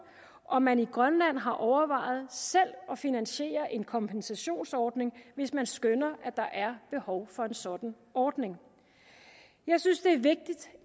om man i grønland har overvejet selv at finansiere en kompensationsordning hvis man skønner at der er behov for en sådan ordning jeg synes det